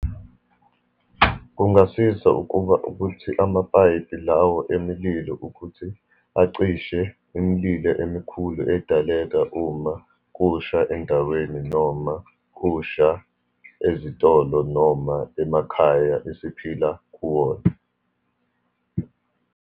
Kungasiza ukuba, ukuthi amapayipi lawo emililo ukuthi acishe imililo emikhulu edaleka uma kusha endaweni, noma kusha ezitolo, noma emakhaya esiphila kuwona.